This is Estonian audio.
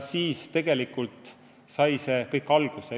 Siis tegelikult sai see kõik alguse.